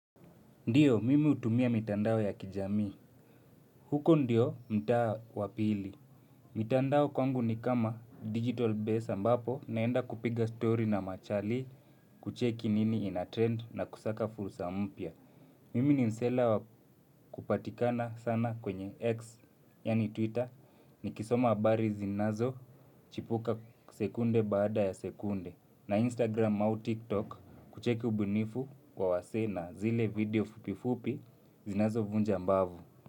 Ndiyo, mimi hutumia mitandao ya kijamii. Huko ndiyo mtaa wa pili. Mitandao kwangu ni kama digital base ambapo naenda kupiga story na machali kucheki nini ina trend na kusaka fursa mpya. Mimi ni msela wa kupatikana sana kwenye X, yaani Twitter, nikisoma habari zinazochipuka sekunde baada ya sekunde. Na Instagram au TikTok kucheki ubunifu kwa wasee na zile video fupifupi zinazo vunja ambavu.